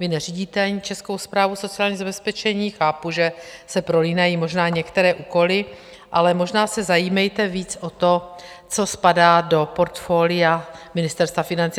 Vy neřídíte ani Českou správu sociálního zabezpečení, chápu, že se prolínají možná některé úkoly, ale možná se zajímejte víc o to, co spadá do portfolia Ministerstva financí.